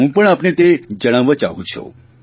હું પણ આપને તે જણાવવા ચાહું છું